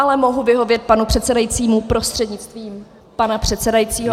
Ale mohu vyhovět panu předsedajícímu prostřednictvím pana předsedajícího.